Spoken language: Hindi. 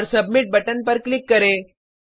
और सबमिट बटन पर क्लिक करें